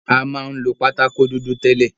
A ma ń lo pátákó dúdú tęlẹ̀.